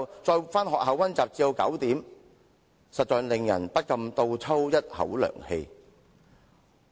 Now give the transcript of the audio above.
這些情況，實在令人不禁倒抽一口涼氣。